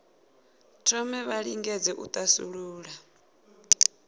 thome vha lingedze u thasulula